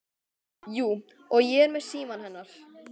Jú, og ég er með símann hennar.